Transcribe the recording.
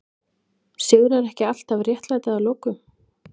Sigrar ekki alltaf réttlæti að lokum?